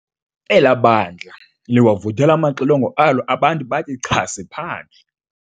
Elaa bandla liwavuthela amaxilongo alo abantu bathi chasi phandle.